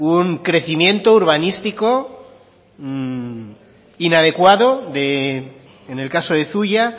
un crecimiento urbanístico inadecuado en el caso de zuia